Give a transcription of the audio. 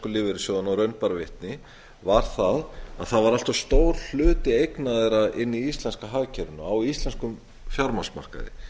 lífeyrissjóðunum og raun bar vitni var það að það var allt of stór hluti eigna þeirra inni í íslenska hagkerfinu á á íslenskum fjármagnsmarkaði